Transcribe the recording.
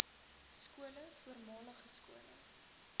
skole voormalige skole